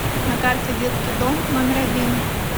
на карте детский дом номер один